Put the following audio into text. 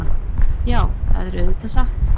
Já, það er auðvitað satt.